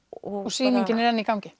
sýningin er enn í gangi